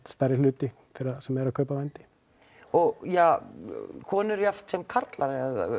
stærri hluti þeirra sem eru að kaupa vændi og ja konur jafnt sem karlar